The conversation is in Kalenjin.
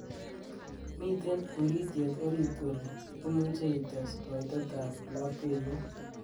miten urityet orit oli imuche ites koitet ab lapkeiyet